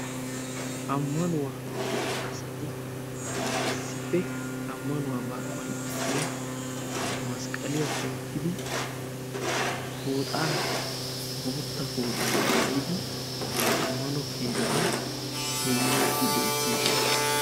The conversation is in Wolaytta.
Amanuwa asti issippe ammanuwaabaa qonccissiya masqqaliya tookidi pooxaaa bootta pooxxaa maayid ammano keettan goyniidi beetoosona.